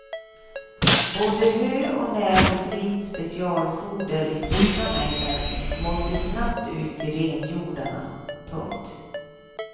Både hö och näringsrikt specialfoder i stora mängder måste snabbt ut till renhjordarna. punkt